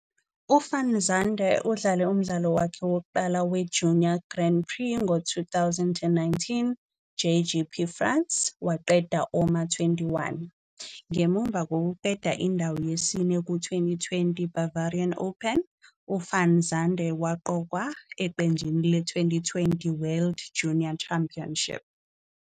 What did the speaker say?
UVan Zundert udlale umdlalo wakhe wokuqala weJunior Grand Prix ngo-2019 JGP France, waqeda owama-21. Ngemuva kokuqeda indawo yesine ku-2020 Bavarian Open, u-van Zundert waqokwa eqenjini le- 2020 World Junior Championship.